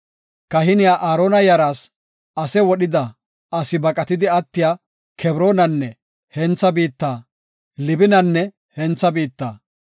Kahiniya Aarona yaraas ase wodhida asi baqatidi attiya Kebroonenne hentha biitta, Libinanne hentha biitta,